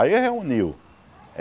Aí reuniu.